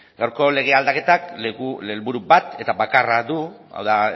gaurko legea aldaketak helburu bat eta bakarra du hau da